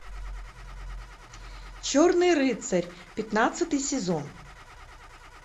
черный рыцарь пятнадцатый сезон